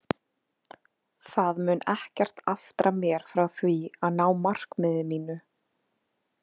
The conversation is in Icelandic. Það mun ekkert aftra mér frá því að ná markmiði mínu.